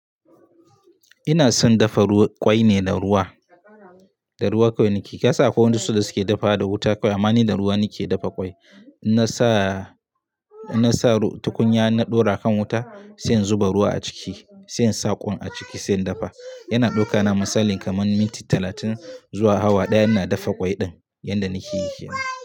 Ina son dafa ruwa, kwai ne da ruwa. Da ruwa kawai nake. Kai sa ko wanda su da suke dafa da wuta kawai. Amma ni da ruwa nake dafa kwai. Na sa, na sa tukunya na ɗora kan wuta, sai in zuba ruwa a ciki, sai in sa ƙwai a ciki sai in dafa. Yana ɗauka na misali kaman minti talatin zuwa awa ɗaya ina dafa ƙwai ɗin yanda nake yi yanzu.